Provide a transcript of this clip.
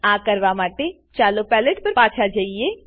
આ કરવા માટે ચાલો પેલેટ પર પાછા જઈએ